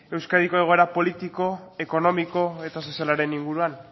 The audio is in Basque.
euskadiko egoera politiko ekonomiko eta sozialaren inguruan